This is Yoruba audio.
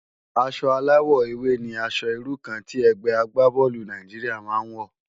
Aṣò àláwò éwé ni ãṣò irú kàn ti ègbé àgbábòlú Nàijiriá má n wò